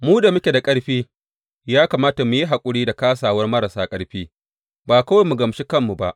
Mu da muke da ƙarfi ya kamata mu yi haƙuri da kāsawar marasa ƙarfi ba kawai mu gamshi kanmu ba.